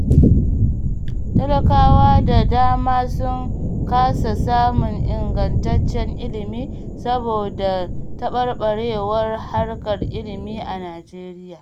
Talakawa da dama sun kasa samun ingantaccen ilimi saboda taɓarɓarewar harkar ilimi a Najeriya